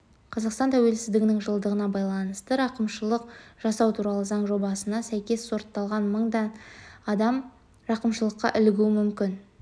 қазақстан тәуелсіздігінің жылдығына байланысты рақымшылық жасау туралы заң жобасына сәйкес сотталған мыңдай адам рақымшылыққа ілігуі мүмкін